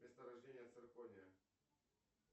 место рождения циркония